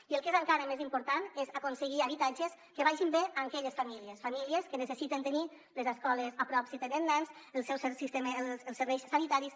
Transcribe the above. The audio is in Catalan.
i el que és encara més important és aconseguir habitatges que vagin bé a aquelles famílies famílies que necessiten tenir les escoles a prop si tenen nens els serveis sanitaris